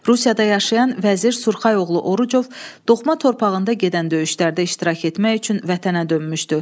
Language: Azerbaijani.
Rusiyada yaşayan Vəzir Surxayoğlu Orucov doğma torpağında gedən döyüşlərdə iştirak etmək üçün vətənə dönmüşdü.